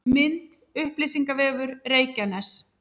Mynd: Upplýsingavefur Reykjaness